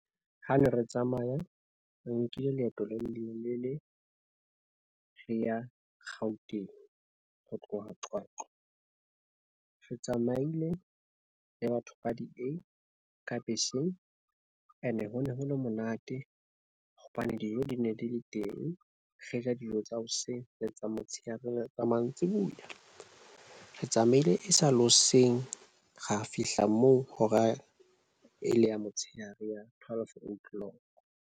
Ha ne re tsamaya re nkile leeto le le lelele, re ya Gauteng ho tloha Qwaqwa. Re tsamaile le batho ba D_A ka beseng. Ene, ho ne ho le monate hobane dijo di ne di le teng. Re ja dijo tsa hoseng le tsa motshehare le mantsibuya. Re tsamaile e sa le hoseng, ra fihla moo hora e le ya motshehare, ya twelve O'clock.